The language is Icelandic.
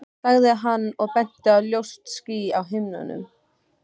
sagði hann og benti á ljóst ský á himninum.